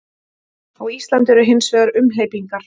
Á Íslandi eru hins vegar umhleypingar.